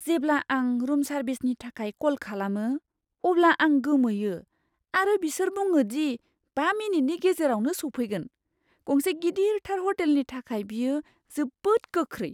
जेब्ला आं रुम सार्भिसनि थाखाय कल खालामो, अब्ला आं गोमोयो आरो बिसोर बुङो दि बा मिनिटनि गेजेरावनो सौफैगोन। गंसे गिदिरथार ह'टेलनि थाखाय बेयो जोबोद गोख्रै!